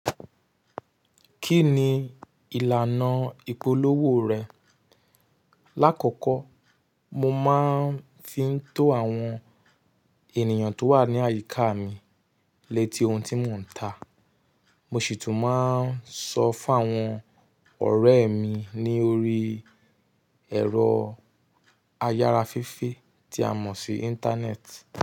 Kí ni ìlànà ìpolówó rẹ̀? Láàkọ́kọ́ mo máá ń fi ń to àwọn ènìyàn tó wà ní àyíká mi létí ohun tí mò ń tà. Mo sì tún máa ń sọ fún àwọn ọ̀rẹ́ mi ní orí ẹ̀rọ ayára fefe tí a mọ̀ sí Íńtánẹ́ẹ̀tì.